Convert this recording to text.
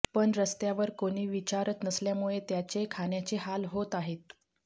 पण रस्त्यावर कोणी विचारत नसल्यामुळे त्याचे खाण्याचे हाल होत आहेत